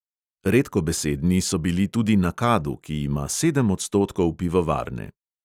Redkobesedni so bili tudi na kadu, ki ima sedem odstotkov pivovarne.